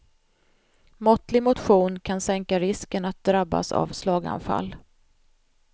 Måttlig motion kan sänka risken att drabbas av slaganfall.